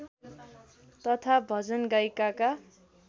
तथा भजन गायिकाका